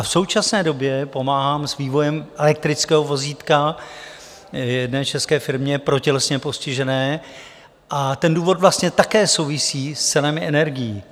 A v současné době pomáhám s vývojem elektrického vozítka jedné české firmě pro tělesně postižené a ten důvod vlastně také souvisí s cenami energií.